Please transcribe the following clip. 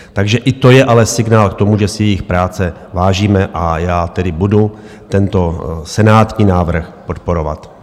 Takže i to je ale signál k tomu, že si jejich práce vážíme, a já tedy budu tento senátní návrh podporovat.